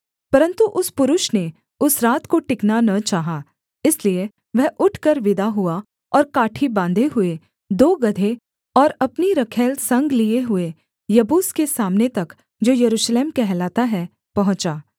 परन्तु उस पुरुष ने उस रात को टिकना न चाहा इसलिए वह उठकर विदा हुआ और काठी बाँधे हुए दो गदहे और अपनी रखैल संग लिए हुए यबूस के सामने तक जो यरूशलेम कहलाता है पहुँचा